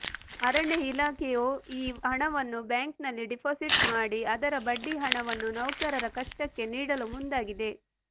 ಅರಣ್ಯ ಇಲಾಖೆಯೂಈ ಹಣವನ್ನು ಬ್ಯಾಂಕ್ನಲ್ಲಿ ಡಿಪಾಸಿಟ್ ಮಾಡಿ ಅದರ ಬಡ್ಡಿ ಹಣವನ್ನು ನೌಕರರ ಕಷ್ಟಕ್ಕೆ ನೀಡಲು ಮುಂದಾಗಿದೆ